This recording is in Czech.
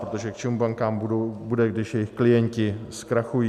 Protože k čemu bankám bude, když jejich klienti zkrachují?